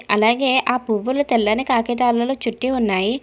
అలాగే ఆ పువ్వులు తెల్లని కాగితాలలో చుట్టి ఉన్నాయి.